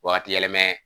Wagati yɛlɛma